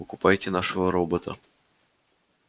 покупайте нашего робота